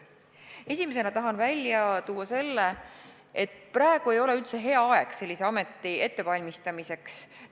Esimesena tahan välja tuua selle, et praegu ei ole üldse hea aeg sellise ameti ettevalmistamiseks.